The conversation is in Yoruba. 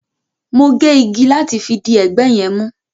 Mo gé igi láti fi di ẹgbẹ́ yẹn mú